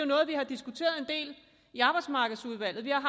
noget vi har diskuteret en del i arbejdsmarkedsudvalget vi har